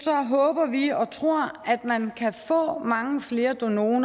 håber vi og tror at man kan få mange flere donorer